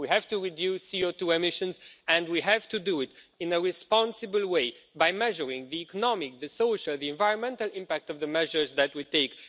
We have to reduce CO2 emissions, and we have to do it in a responsible way by measuring the economic, the social, the environmental impact of the measures that we take